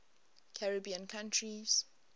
caribbean countries